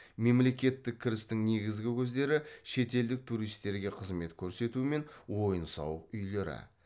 мемлекеттік кірістің негізгі көздері шетелдік туристерге қызмет көрсету мен ойын сауық үйлері